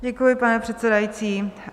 Děkuji, pane předsedající.